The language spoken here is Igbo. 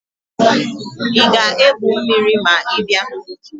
Ị ga-egwu mmiri ma ị bịa?